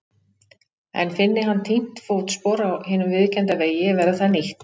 En finni hann týnt fótspor á hinum viðurkennda vegi verður það nýtt.